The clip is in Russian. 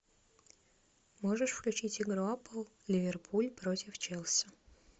можешь включить игру апл ливерпуль против челси